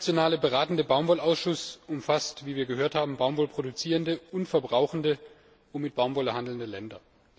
Der Internationale Beratende Baumwollausschuss umfasst, wie wir gehört haben, baumwollproduzierende und verbrauchende sowie mit Baumwolle handelnde Länder.